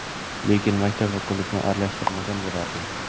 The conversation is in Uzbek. Lekin maktab va klubni aralashtirmagan bo‘lardim.